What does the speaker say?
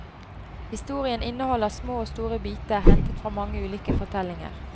Historien inneholder små og store biter hentet fra mange ulike fortellinger.